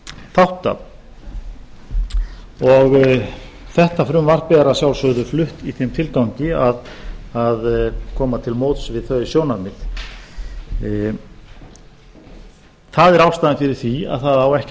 þátta þetta frumvarp er að sjálfsögðu flutt í þeim tilgangi að koma til móts við þau sjónarmið það er ástæðan fyrir því að það á ekki að